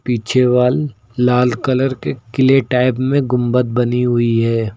पीछे वाल लाल कलर के क्ले टाइप में गुंबद बनी हुई है।